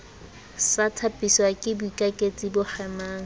sa thapiswake boikaketsi bo kgemang